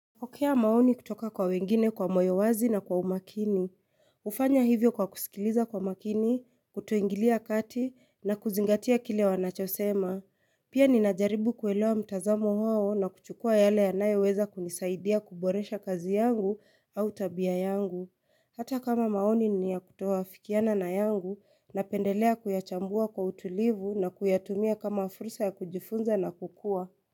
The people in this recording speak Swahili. Kupokea maoni kutoka kwa wengine kwa moyo wazi na kwa umakini, hufanya hivyo kwa kusikiliza kwa makini, kutoingilia kati na kuzingatia kile wanachosema, pia ninajaribu kuelewa mtazamo wao na kuchukua yale yanayoweza kunisaidia kuboresha kazi yangu au tabia yangu, hata kama maoni ni ya kutoafikiana na yangu napendelea kuyachambua kwa utulivu na kuyatumia kama fursa ya kujifunza na kukua.